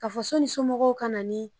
K'a fɔ sɔni somɔgɔw ka na nin